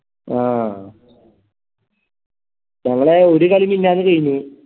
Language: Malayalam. ആ നമ്മളെ ഒരു കളി മിന്നാന്ന് കയിഞ്ഞു